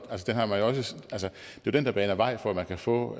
jo den der baner vejen for at man kan få